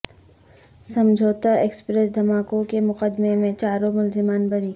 سمجھوتہ ایکسپریس دھماکوں کے مقدمے میں چاروں ملزمان بری